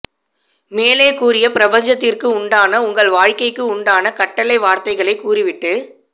மேலே கூறிய பிரபஞ்சத்திற்கு உண்டான உங்கள் வாழ்க்கைக்கு உண்டான கட்டளை வார்த்தைகளை கூறி விட்டு